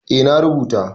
eh na rubuta